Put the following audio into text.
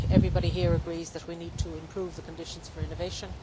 I think everybody here agrees that we need to improve the conditions for innovation.